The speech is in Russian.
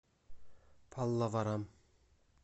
паллаварам